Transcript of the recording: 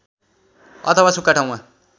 अथवा सुखा ठाउँमा